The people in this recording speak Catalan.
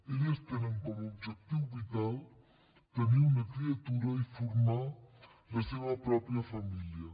elles tenen com a objectiu vital tenir una criatura i formar la seva pròpia família